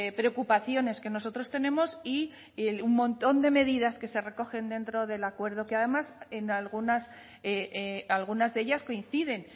preocupaciones que nosotros tenemos y un montón de medidas que se recogen dentro del acuerdo que además en algunas algunas de ellas coinciden